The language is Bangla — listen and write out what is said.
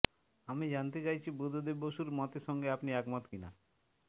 আমি জানতে চাইছি বুদ্ধদেব বসুর মতের সঙ্গে আপনি একমত কিনা